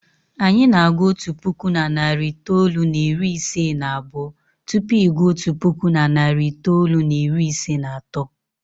Anyị na-agụ otu puku na narị itoolu na iri ise na abụọ tupu ị gụọ otu puku na narị itoolu na iri ise na atọ.